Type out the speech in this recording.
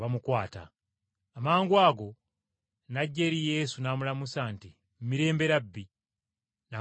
Amangwago n’ajja eri Yesu n’amulamusa nti, “Mirembe, Labbi,” n’amugwa mu kifuba.